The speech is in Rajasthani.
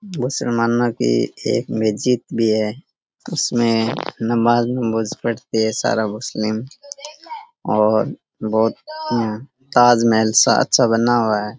मुसलमांना की एक मस्जिद भी है उसमें नमाज नुमाज पढ़ते है सारा मुस्लिम और बहोत ताज महल सा अच्छा बना हुआ है।